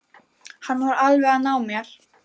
Hann var alveg að ná mér